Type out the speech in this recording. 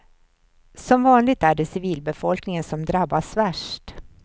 Som vanligt är det civilbefolkningen som drabbas värst.